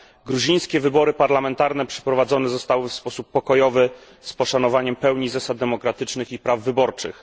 Gruzińskie wybory parlamentarne przeprowadzone zostały w sposób pokojowy, z poszanowaniem pełni zasad demokratycznych i praw wyborczych.